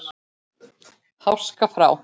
Háska frá.